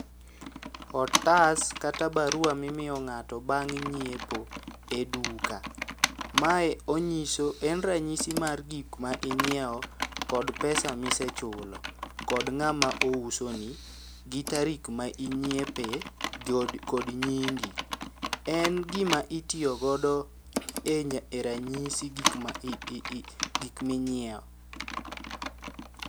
Otas kata barua mimiyo ng'to bang' nyiepo e duka. Mae onyiso en ranyisi mar gik ma inyiewo kod pesa misechulo. Kod ng'ama ouso ni, gi tarik ma inyiepe kod nyingi. En gima itiyo godo e ranyisi gik ma, gik minyiewo.